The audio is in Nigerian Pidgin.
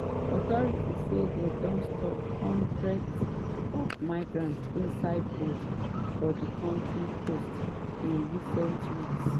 authorities say dem don stop hundreds of migrants inside boats for di kontri coast in recent weeks.